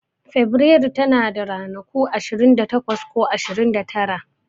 Feburairu tana da ranaku ashirin da takwas ko ashirin da tara.